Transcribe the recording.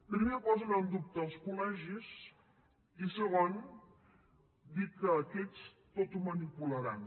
primer posen en dubte els col·legis i segon dir que aquests tot ho manipularan